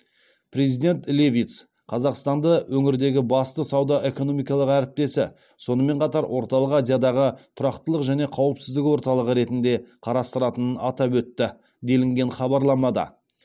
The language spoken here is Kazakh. президент левитс қазақстанды өңірдегі басты сауда экономикалық әріптесі сонымен қатар орталық азиядағы тұрақтылық және қауіпсіздік орталығы ретінде қарастыратынын атап өтті делінген хабарламада